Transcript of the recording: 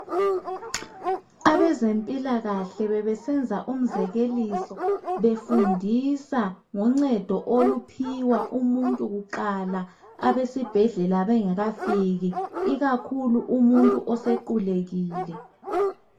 abezempilakahle bebesenza umzekeliso befundisa ngoncedo oluphiwa umuntu kuqala abesibhedlela bengakafiki ikakhulu umuntu osequlekile